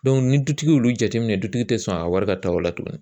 ni dutigi y'olu jateminɛ dutigi tɛ sɔn a wari ka taa o la tugun